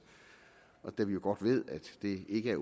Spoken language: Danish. og da vi jo godt ved at det ikke er